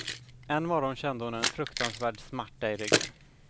En morgon kände hon en fruktansvärd smärta i ryggen.